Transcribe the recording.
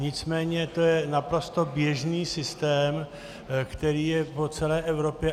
Nicméně je to naprosto běžný systém, který je po celé Evropě.